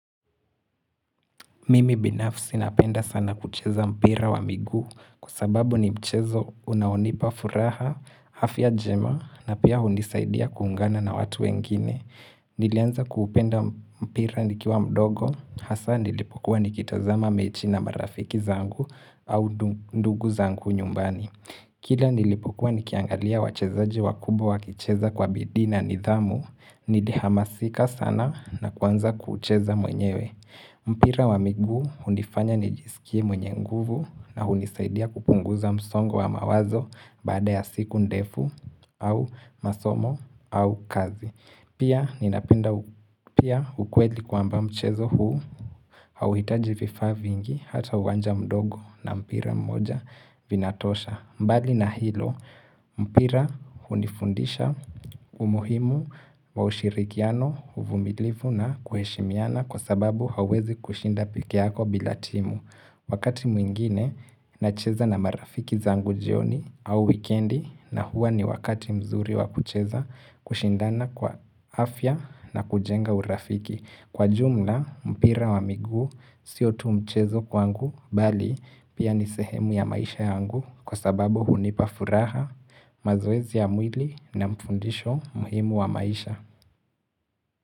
Mimi binafsi napenda sana kucheza mpira wa miguu kwa sababu ni mchezo unaonipa furaha, afya njema na pia hunisaidia kuungana na watu wengine. Nilianza kuupenda mpira nikiwa mdogo, hasa nilipokuwa nikitazama mechi na marafiki zangu au ndugu zangu nyumbani. Kila nilipokuwa nikiangalia wachezaji wakubwa wakicheza kwa bidii na nidhamu, nili hamasika sana na kuanza kucheza mwenyewe. Mpira wa migu hunifanya nijisikie mwenye nguvu na hunisaidia kupunguza msongo wa mawazo baada ya siku ndefu au masomo au kazi. Pia ninapenda pia ukweli kwa amba mchezo huu hauhitaji vifaa vingi hata uwanja mdogo na mpira mmoja vinatosha. Mbali na hilo, mpira hunifundisha umuhimu wa ushirikiano, uvumilifu na kuheshimiana kwa sababu hauwezi kushinda pekee yako bilatimu. Wakati mwingine, nacheza na marafiki zangu jioni au wikendi na huwa ni wakati mzuri wa kucheza kushindana kwa afya na kujenga urafiki. Kwa jumla mpira wa miguu sio tu mchezo kwangu bali pia nisehemu ya maisha yangu kwa sababu hunipafuraha mazoezi ya mwili na mfundisho muhimu wa maisha.